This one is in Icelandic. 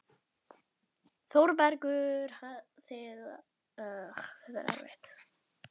ÞÓRBERGUR: Þið hafið náttúrlega verið að skeggræða þvottinn fram á nótt.